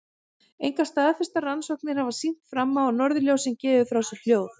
Engar staðfestar rannsóknir hafa sýnt fram á að norðurljósin gefi frá sér hljóð.